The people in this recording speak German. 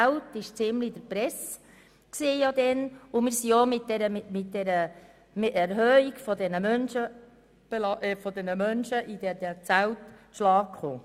Seit Jahren beherbergen wir in Lyss Menschen auch in Zelten, worüber ja auch in der Presse berichtet wurde.